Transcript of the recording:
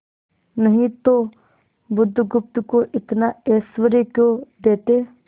नहीं तो बुधगुप्त को इतना ऐश्वर्य क्यों देते